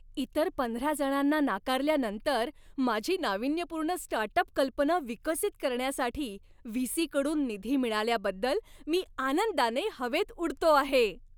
इतर पंधरा जणांना नाकारल्यानंतर माझी नाविन्यपूर्ण स्टार्टअप कल्पना विकसित करण्यासाठी व्ही. सी. कडून निधी मिळाल्याबद्दल मी आनंदाने हवेत उडतो आहे.